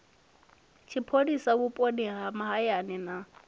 tshipholisa vhuponi ha mahayani na